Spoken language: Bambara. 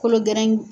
Kolo gɛrɛn